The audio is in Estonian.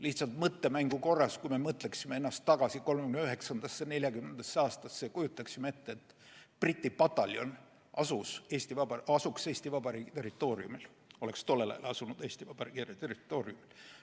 Lihtsalt mõttemängu korras: mõtleme ennast tagasi 1939. ja 1940. aastasse ning kujutame ette, et Briti pataljon asus tol ajal Eesti Vabariigi territooriumil.